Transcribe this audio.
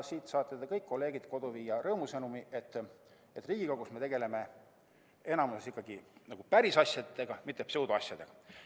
Te saate kõik, kolleegid, koju viia rõõmusõnumi, et Riigikogus me tegeleme enamasti ikkagi pärisasjadega, mitte pseudoasjadega.